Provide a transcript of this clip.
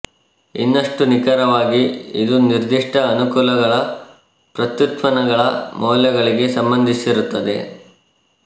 ಇನ್ನಷ್ಟು ನಿಖರವಾಗಿ ಇದು ನಿರ್ದಿಷ್ಟ ಅನುಕಲಗಳ ಪ್ರತ್ಯುತ್ಪನ್ನಗಳ ಮೌಲ್ಯಗಳಿಗೆ ಸಂಬಂಧಿಸಿರುತ್ತದೆ